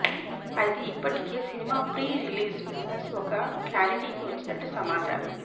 అయితే ఇప్పటికే cinema pre release business ఓక క్లారిటీకి వచ్చినట్లు సమాచారం